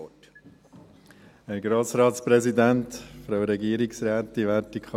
Kommissionssprecher der JuKo-Minderheit.